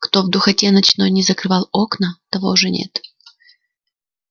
кто в духоте ночной не закрывал окна того уж нет